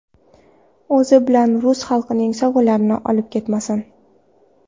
O‘zi bilan rus xalqining sovg‘alarini olib ketmasin.